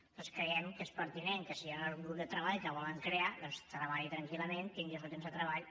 nosaltres creiem que és pertinent que si hi ha un grup de treball que volen crear doncs treballi tranquil·lament tingui el seu temps de treball